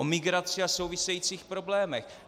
O migraci a souvisejících problémech.